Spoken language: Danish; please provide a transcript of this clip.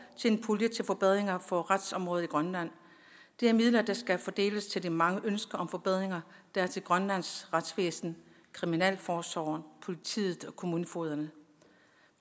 til en pulje til forbedringer på retsområdet i grønland det er midler der skal fordeles til de mange ønsker om forbedringer der er til grønlands retsvæsen kriminalforsorgen politiet og kommunefogederne